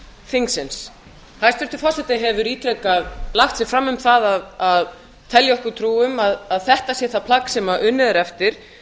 þingsins hæstvirtur forseti hefur ítrekað lagt sig fram um að telja okkur trú um að þetta sé það plagg sem unnið er eftir